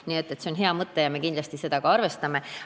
Nii et see on hea mõte ja me kindlasti seda ka arvestame.